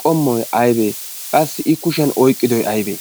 qommoi aibee qassi i kushiyan oiqqidoy aybee?